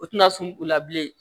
O tɛna sun u la bilen